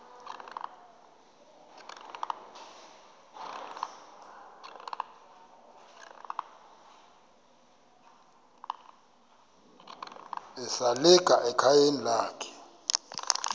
esalika ekhayeni lakhe